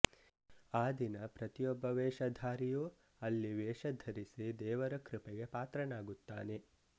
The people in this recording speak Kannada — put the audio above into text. ಆ ದಿನ ಪ್ರತಿಯೊಬ್ಬ ವೇಷಧಾರಿಯೂ ಅಲ್ಲಿ ವೇಷಧರಿಸಿ ದೇವರ ಕೃಪೆಗೆ ಪಾತ್ರನಾಗುತ್ತಾನೆ